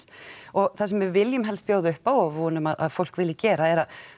og það sem við viljum helst bjóða upp á og vonum að fólk vilji gera er